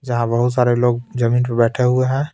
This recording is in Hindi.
जहाँ बहुत सारे लोग जमीन पे बैठे हुए हैं.